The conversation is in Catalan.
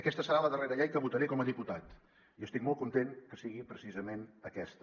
aquesta serà la darrera llei que votaré com a diputat i estic molt content que sigui precisament aquesta